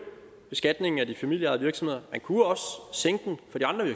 beskatningen af de familieejede virksomheder man kunne også sænke den